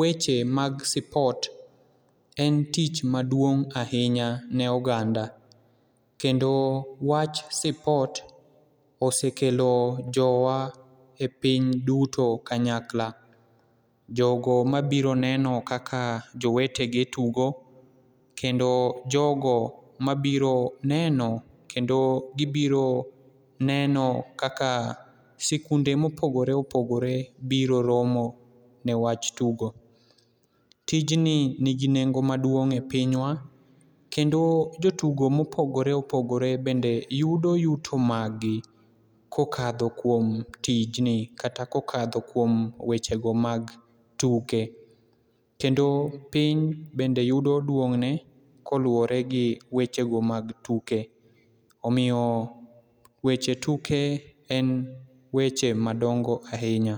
weche mag sipot en tich maduong' ahinya ne oganda kendo wach sipot osekelo jowa e piny duto kanyakla. Jogo mabiro neno kaka jowetegi tugo kendo jogo mabiro neno kendo gibiro neno kaka sikunde mopogore opogore biro romo newach tugo. Tijni nigi nengo maduong' e pinywa kendo jotugo mopogore opogore bende yudo yuto margi kokadho kuom tijni kata kokadho kuom weche go mag tuke. Kendo piny bende yudo duong' ne koluwore gi weche go mag tuke. Omiyo weche tuke en weche madongo ahinya.